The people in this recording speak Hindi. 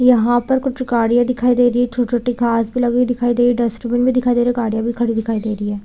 यहाँ पर कुछ गाड़िया दिखाई छोटे-छोटे घास पे लगे दिखाई डस्टबिन भी दिखाई दे रही है गाड़ी भी दिखाई दे रही है।